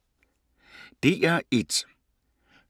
DR1